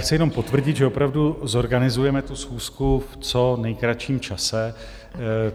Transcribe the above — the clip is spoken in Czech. Chci jenom potvrdit, že opravdu zorganizujeme tu schůzku v co nejkratším čase.